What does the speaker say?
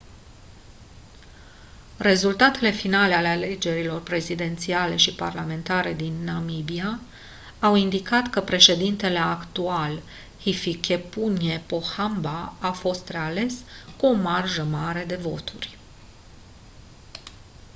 rezultatele finale ale alegerilor prezidențiale și parlamentare din namibia au indicat că președintele actual hifikepunye pohamba a fost reales cu o marjă mare de voturi